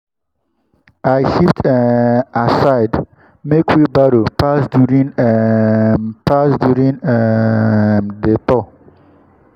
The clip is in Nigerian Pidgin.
i shift um aside make wheelbarrow pass during um pass during um the tour.